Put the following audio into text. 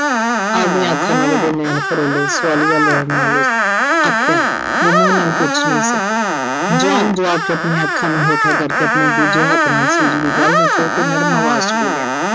ਆਵਦੀਆਂ ਅੱਖਾਂ ਨਾਲ ਉਹਦੇ ਨੈਣ ਫਰੋਲੇ। ਸਵਾਲੀਆ ਨਜ਼ਰ ਨਾਲ ਆਖਿਆ, ਜੋ ਮੂੰਹ ਨਾਲ ਪੁੱਛ ਨਹੀਂ ਸਕੀ। John ਜਵਾਬ 'ਚ ਆਪਣੀਆਂ ਅੱਖਾਂ ਨੂੰ ਹੇਠਾਂ ਕਰਕੇ ਆਪਣੇ ਦੂਜੇ ਹੱਥ ਨਾਲ Suji ਦੀ ਗੱਲ ਨੂੰ ਛੋਹ ਕੇ ਨਰਮ ਆਵਾਜ਼ 'ਚ ਬੋਲਿਆ